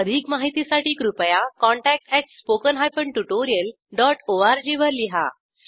अधिक माहितीसाठी कृपया contact at spoken hyphen tutorial dot O R G वर लिहा